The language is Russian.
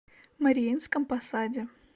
мариинском посаде